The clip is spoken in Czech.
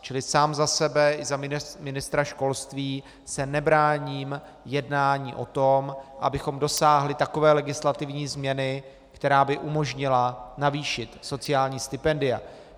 Čili sám za sebe i za ministra školství se nebráním jednání o tom, abychom dosáhli takové legislativní změny, která by umožnila navýšit sociální stipendia.